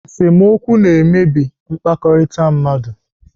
Esemokwu na-emebi mkpakọrịta mmadụ.